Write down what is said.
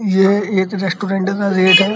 ये एक रेस्टॉरेंट का